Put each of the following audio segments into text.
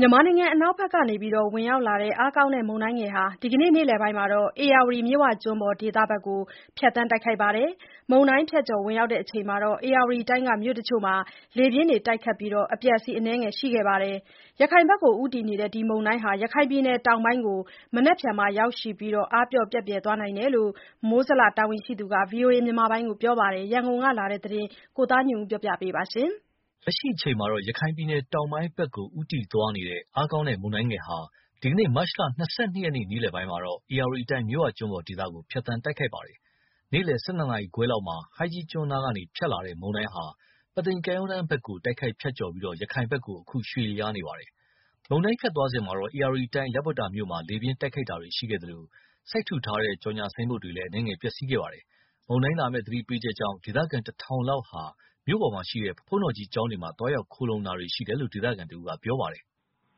မြန်မာနိုင်ငံအနောက်ဘက်ကနေ ဝင်ရောက်လာတဲ့ အားကောင်းတဲ့မုန်တိုင်းငယ်ဟာ ဒီနေ့ နေ့လယ်ပိုင်းက ဧရာတီမြစ်ဝကျွန်းပေါ်ဒေသဘက်ကို ဖြတ်သန်းတိုက်ခတ်ပါတယ်။ မုန်တိုင်းဖြတ်ကျော် ဝင်ရောက်ချိန်မှာ ဧရာဝတီတိုင်းက မြို့အချို့မှာ လေပြင်းတွေ တိုက်ခတ်ပြီး အပျက်အစီး အနည်းငယ်ရှိခဲ့ပါတယ်။ ရခိုင်ဘက်ကိုဦးတည်နေတဲ့ ဒီမုန်တိုင်းဟာ မနက်ဖြန်မှာ ရခိုင်ပြည်နယ်တောင်ပိုင်းကိုရောက်ရှိပြီးနောက် အားပျော့ ပျက်ပြယ်သွားမယ်လို့ မိုးဇလတာဝန်ရှိသူတွေက ဗီအိုအေကို ပြောပါတယ်။ ရန်ကုန်က ပေးပို့လာတဲ့သတင်းကို ကိုသားညွန့်ဦးက တင်ပြပေးထားပါတယ်။ လက်ရှိအချိန်မှာ ရခိုင်ပြည်နယ်တောင်ပိုင်းဘက်ကို ဦးတည်သွားနေတဲ့ အားကောင်းတဲ့မုန်တိုင်းငယ်ဟာ ဒီနေ့ မတ် လ ၂၂ ရက် နေ့လယ်ပိုင်းက ဧရာဝတီတိုင်း မြစ်ဝကျွန်းပေါ်ဒေသကို ဖြတ်သန်းတိုက်ခတ်ပါတယ်။ နေ့လယ် ၁၂ ခွဲလောက်မှာ ဟိုင်းကြီးကျွန်းနားကဖြတ်ကျော်လာတဲ့ မုန်တိုင်းဟာ ပုသိမ်ကမ်းရိုးတမ်းဘက်ကို တိုက်ခတ်ဖြတ်ကျော်ပြီး ရခိုင်ဘက်ကို အခုရွှေ့လျားသွားနေတာဖြစ်ပါတယ်။ မုန်တိုင်း ဖြတ်သွားစဉ် ဧရာဝတီတိုင်း လပွတ္တာ မြို့မှာ လေပြင်းတိုက်ခတ်တာတွေရှိခဲ့သလို စိုက်ထူထားတဲ့ ကြော်ငြာဆိုင်းဘုတ်တွေလည်း အနည်းငယ်ပျက်စီးခဲ့ပါတယ်။ မုန်တိုင်းလာမယ့်သတိပေးချက်ကြောင့် ဒေသခံ ၁,၀၀၀ လောက်ဟာ မြို့ပေါ်က ဘုန်းတော်ကြီးကျောင်းတွေမှာ သွားရောက် ခိုလှုံတာတွေရှိတယ်လို့ ဒေသခံတဦးက ပြောပါတယ်။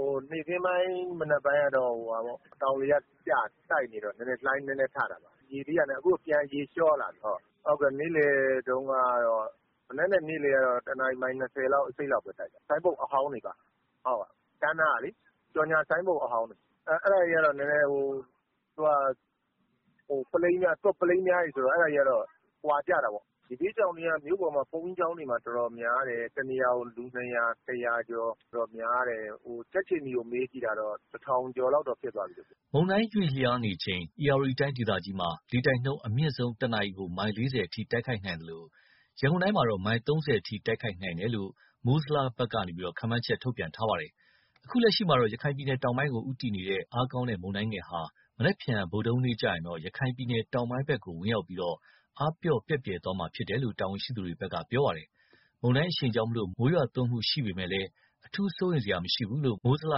“နေ့ခင်းပိုင်း မနက်ပိုင်းကတော့ တောင်လေက တိုက်နေတော့ လှိုင်းနည်းနည်းထတာပါ။ အခုတော့ ရေပြန်လျောလာပြီ။ မနက်နဲ့ နေ့လယ်ကတော့ ၁ နာရီ မိုင် ၂၀-၂၅ လောက်ပဲ တိုက်တာပါ။ ဆိုင်းဘုတ်အဟောင်းတွေ ကမ်းနားကလေ ကြော်ငြာဆိုင်းဘုတ်အဟောင်းတွေက သွပ်ပလိန်းပြားတွေဆိုတော့ အဲ့ဒါတွေက ကွာကျတာပေါ့။ ရေဘေးရှောင်တွေက မြို့ပေါ်က ဘုန်းကြီးကျောင်းတွေမှာ ၁ နေရာကို ၂၀၀ ကျော် ၁၀၀ ကျော် များတယ်။ ကြက်ခြေနီကို မေးကြည့်တာ ၁ ထောင်ကျော် လောက်ဖြစ်သွားပြီလို့ပြောတယ်။” မုန်တိုင်းရွေ့လျားနေချိန် ဧရာဝတီတိုင်းဒေသကြီးမှာ လေတိုက်နှုန်း အမြင့်ဆုံး ၁ နာရီ မိုင် ၄၀ အထိ တိုက်ခတ်နိုင်သလို ရန်ကုန်တိုင်းမှာ မိုင် ၃၀ အထိ တိုက်ခတ်နိုင်တယ်လို့ မိုးဇလက ခန့်မှန်းချက် ထုတ်ပြန်ခဲ့ပါတယ်။ အခုလက်ရှိမှာ ရခိုင်ပြည်နယ်တောင်ပိုင်းကို ဦးတည်နေတဲ့ အားကောင်းတဲ့ မုန်တိုင်းငယ်ဟာ နက်ဖြန်ဗုဒ္ဓဟူးနေ့ကျရင် ရခိုင်ပြည်နယ် တောင်ပိုင်းဘက်ကို ဝင်ရောက်ပြီး အားပျော့ ပျက်ပြယ်သွားမှာဖြစ်တယ်လို့ တာဝန်ရှိသူတွေက ပြောပါတယ်။ မုန်တိုင်းအရှိန်ကြောင့် မိုးရွာသွန်းမှုရှိပေမယ့် အထူးစိုးရိမ်စရာမရှိဘူးလို့ မိုးဇလ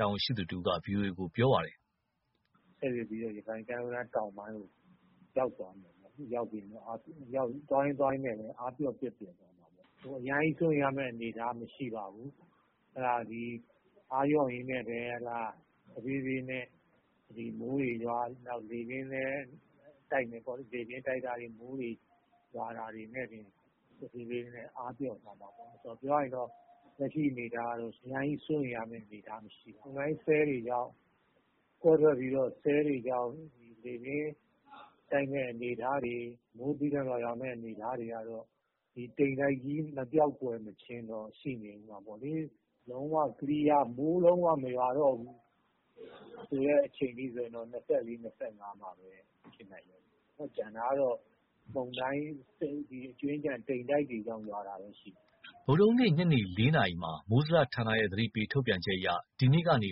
တာဝန်ရှိသူတဦးက ဗွီအိုအေကို အခုလိုပြောပါတယ်။ “ဆက်ရွေ့ပြီး ရခိုင်ကမ်းရိုးတမ်း တောင်ပိုင်းကို ရောက်သွားမယ်ပေါ့။ သွားရင်းသွားရင်းနဲ့ပဲ အားပျော့ ပျက်ပြယ်သွားမှာပေါ့။ အရမ်းစိုးရိမ်ရမယ့် အနေအထားမရှိပါဘူး။ အားလျော့ရင်းနဲ့ပဲ တဖြေးဖြေးနဲ့ မိုးတွေရွာလေပြင်းလည်း တိုက်မယ်ပေါ့လေ။ လေပြင်းတိုက်တာတွေ မိုးတွေရွာတာတွေနဲ့တင် တဖြေးဖြေးနဲ့ အားပျော့သွားမှာပေါ့။ ပြောရရင် လက်ရှိ အနေအထားကတော့ အရမ်းကြီး စိုးရိမ်ရမယ့် အနေအထားမရှိပါဘူး။ မုန်တိုင်းဆဲလ်တွေကြောင့် လေပြင်းတိုက် မိုးသည်းထန်စွာရွာမယ့် အနေအထားတွေက ဒီတိမ်တိုက်ကြီး မပျောက်မကွယ်ချင်းတော့ ရှိနေအုံးမှာပေါ့လေ။ လုံးဝ Clear မိုးလုံးဝ မရွာမယ့် အနေအထားက ၂၄-၂၅ လောက်မှပဲ ဖြစ်နိုင်မယ်။ ကျန်တာကတော့ အကြွင်းအကျန် တိမ်တိုက်တွေကြောင့် ရွာတာပဲရှိမယ်။” ဗုဒ္ဓဟူးနေ့ ညနေ ၄ နာရီမှာ မိုးဇလဌာနရဲ့ သတိပေးထုတ်ပြန်ချက်အရ ဒီနေ့ကနေ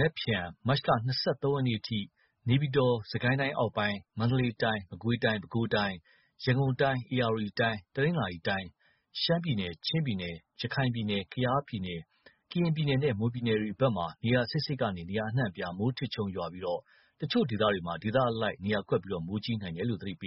နက်ဖြန် မတ်လ ၂၃ ရက်နေ့ အထိ နေပြည်တော်၊ စစ်ကိုင်းတိုင်းအောက်ပိုင်း၊ မန္တလေးတိုင်း၊ မကွေးတိုင်း၊ ပဲခူးတိုင်း၊ ရန်ကုန်တိုင်း၊ ဧရာဝတီတိုင်း၊ တနင်္သာရီတိုင်း၊ ရှမ်းပြည်နယ်၊ ချင်းပြည်နယ်၊ ရခိုင်ပြည်နယ်၊ ကယားပြည်နယ်၊ ကရင်ပြည်နယ်နှင့် မွန်ပြည်နယ်တို့မှာ နေရာစိပ်စိပ်မှ နေရာအနှံ့အပြား မိုးထစ်ချုန်းရွာပြီး၊ အချို့ဒေသတွေမှာ ဒေသအလိုက်နှင့် နေရာကွက်ပြီး မိုးကြီးနိုင်တယ်လို့ သတိပေး